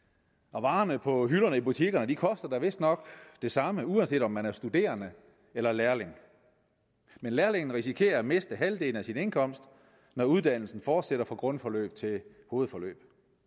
og varerne på hylderne i butikkerne koster da vistnok det samme uanset om man er studerende eller lærling men lærlingen risikerer at miste halvdelen af sin indkomst når uddannelsen fortsætter fra grundforløb til hovedforløb